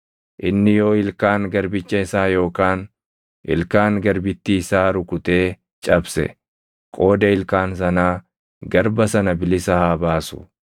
Inni yoo ilkaan garbicha isaa yookaan ilkaan garbittii isaa rukutee cabse, qooda ilkaan sanaa garba sana bilisa haa baasu.